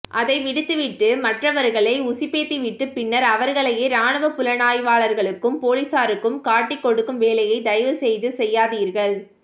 அதை விடுத்துவிட்டு மற்றவர்களை உசுப்பேத்திவிட்டு பின்னர் அவர்களேயே இராணுப் புலனாய்வாளர்களுக்கும் பொலிசாருக்கும் காட்டிக் கொடுக்கும் வேலையை தயவு செய்து செய்யாதீர்கள்